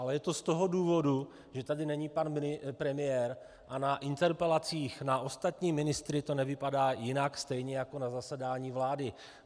Ale je to z toho důvodu, že tady není pan premiér a na interpelacích na ostatní ministry to nevypadá jinak, stejně jako na zasedání vlády.